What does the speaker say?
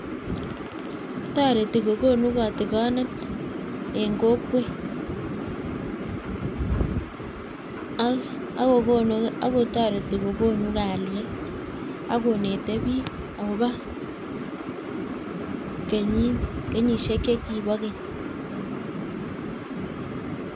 Toreti kokunu katikonet eng kokwet ak kotoreti kokunu kalyet akonete bik akobo kenyishek chebo keny